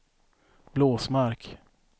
Blåsmark